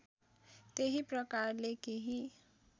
त्यही प्रकारले केही